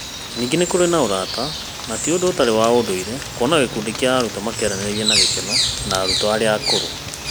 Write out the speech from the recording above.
Ningĩ nĩ kũrĩ na ũrata, na ti ũndũ ũtarĩ wa ndũire kuona gĩkundi kĩa arutwo makĩaranĩria na gĩkeno na arutwo arĩa akũrũ.